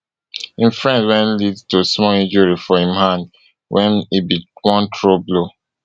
im friend wey lead to small injury for im hand wen e bin wan throw blow